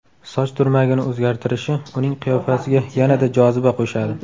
Soch turmagini o‘zgartirishi uning qiyofasiga yanada joziba qo‘shadi.